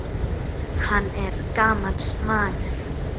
Hann er gamall maður.